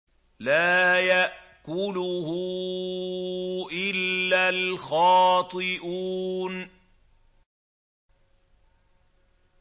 لَّا يَأْكُلُهُ إِلَّا الْخَاطِئُونَ